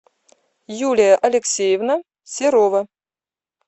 юлия алексеевна серова